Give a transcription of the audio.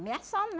Ameaçando, né?